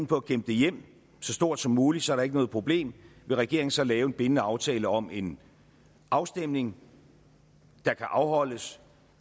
på at kæmpe det hjem så stort som muligt så der ikke er noget problem vil regeringen så lave en bindende aftale om en afstemning der kan afholdes